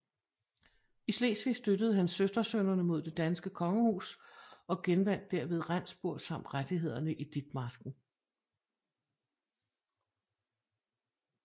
I Slesvig støttede han søstersønnerne mod det danske kongehus og genvandt derved Rendsburg samt rettigheder i Ditmarsken